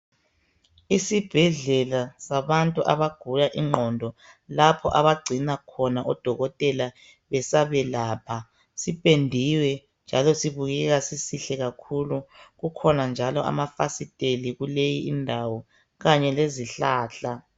Esibhedlela sabantu abagula ingqondo lapho abagcinwa khona odokotela besabelapha, sipendiwe njalo sibukeka sisihle kakhulu kukhona njalo amafastela kulei indawo kanye lezihlahla.